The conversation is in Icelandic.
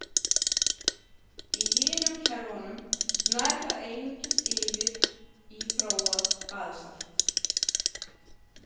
Í hinum kerfunum nær það einungis yfir í þróað basalt.